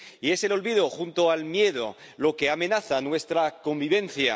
Y es el olvido, junto al miedo, lo que amenaza nuestra convivencia.